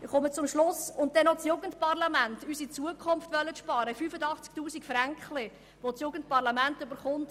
Schliesslich will man noch bei den 85 000 «Fränkli» an unsere Zukunft, an das Jugendparlament sparen.